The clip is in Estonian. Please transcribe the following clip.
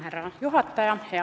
Härra juhataja!